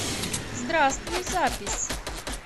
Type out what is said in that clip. здравствуй запись